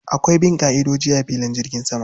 Akwai bin ƙa'ida a filin jirgin sama.